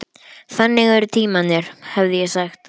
Þannig eru tímarnir, hefði ég sagt.